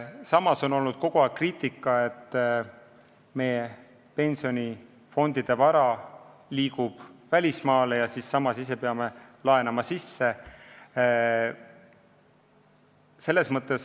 Samas on kogu aeg olnud kriitikat, et meie pensionifondide vara liigub välismaale ja me ise peame mujalt laenama.